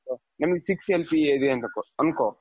ನಿಂಗೆ six MCA ಇರ್ಬೇಕು ಅನ್ಕೋ,